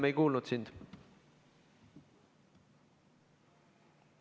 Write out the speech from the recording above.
Me ei kuulnud sind.